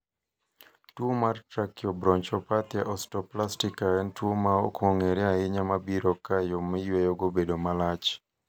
tuo mar trakiobronchopathia osteoplastika en tuo ma ok ong'ere ahinya mabiro ka yoo miyueyogo obedo malach